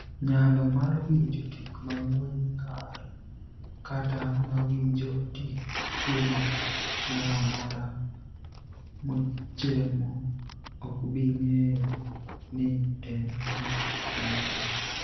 niyalo mar winijo tik manig'we nig'ar kata mowinijo tik chiemo moro amora mochiemo, ok bi nig'eyo nii eni nig'at manono.'